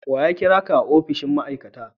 Wa ya kira ka a opishin ma'aikata?